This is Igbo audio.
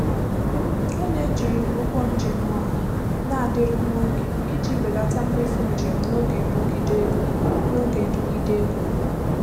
Ọ na-eji ụgbọ njem ọha na-adịru nwa oge iji belata mmefu njem n'oge nrụgide ego. n'oge nrụgide ego.